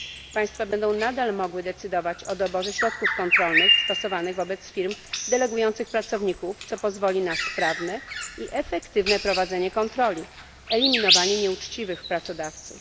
Państwa będą nadal mogły decydować o doborze środków kontrolnych stosowanych wobec firm delegujących pracowników, co pozwoli na sprawne i efektywne prowadzenie kontroli, eliminowanie nieuczciwych pracodawców.